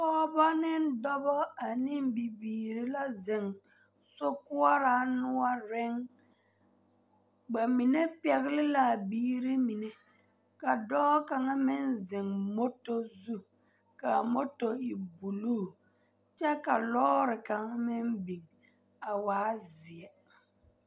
Pɔgebɔ ane dɔbɔ ane bibiiri la a zeŋ sokoɔraa noɔreŋ ba mine pɛgle la a biiri mine ka dɔɔ kaŋa meŋ zeŋ mɔtɔ zu ka a mɔtɔ e buluu kyɛ ka lɔɔre kaŋ meŋ biŋ a waa zeɛ.